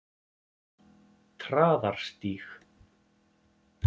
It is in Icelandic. Traðarstíg